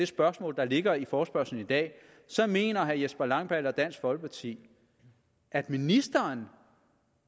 spørgsmål der ligger i forespørgslen i dag mener herre jesper langballe og dansk folkeparti at ministeren